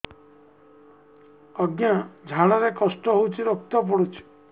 ଅଜ୍ଞା ଝାଡା ରେ କଷ୍ଟ ହଉଚି ରକ୍ତ ପଡୁଛି